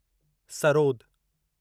sarod